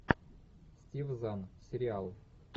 стив зан сериал